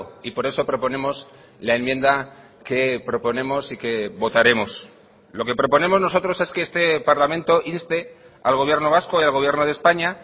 y por eso proponemos la enmienda que proponemos y que votaremos lo que proponemos nosotros es que este parlamento inste al gobierno vasco y al gobierno de españa